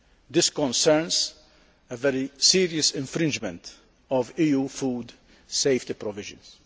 This concerns a very serious infringement of EU food safety provisions.